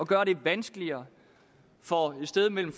gøre det vanskeligere for et sted mellem